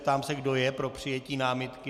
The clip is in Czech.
Ptám se, kdo je pro přijetí námitky.